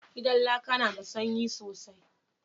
Gidan laƙa na da sanyi sosai